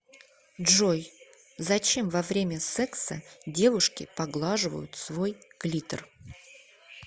джой зачем во время секса девушки поглаживают свой клитор